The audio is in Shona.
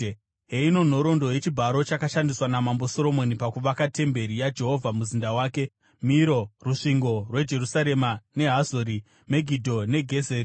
Heino nhoroondo yechibharo chakashandiswa naMambo Soromoni pakuvaka temberi yaJehovha, muzinda wake, Miro, rusvingo rweJerusarema neHazori, Megidho neGezeri.